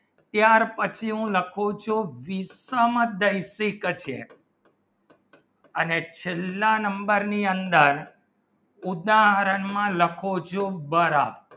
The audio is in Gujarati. ત્યાર પછી હું લખું છું અને છેલ્લા number ની અંદર ઉદાહરણમાં લખો જોબ દ્વારા